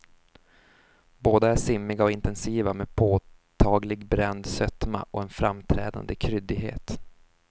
Båda är simmiga och intensiva med påtaglig bränd sötma och en framträdande kryddighet.